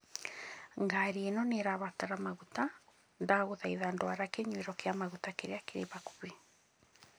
Ngari ĩno nĩ ĩrabatara maguta, ndagũthaitha dwara kinyũero kĩa maguta kĩrĩa kĩrĩ hakuhĩ